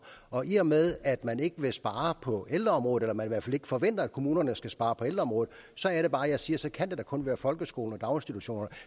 og i og med at man ikke vil spare på ældreområdet eller man i hvert fald ikke forventer at kommunerne skal spare på ældreområdet så er det bare jeg siger så kan det da kun være folkeskoler og daginstitutioner